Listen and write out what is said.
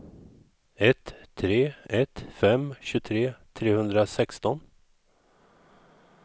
ett tre ett fem tjugotre trehundrasexton